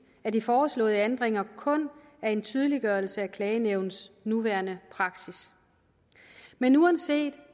at de foreslåede ændringer kun er en tydeliggørelse af klagenævnets nuværende praksis men uanset